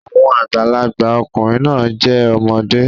Àwọn àgbàlagbà ọkùnrin náà jẹ́ ọmọdé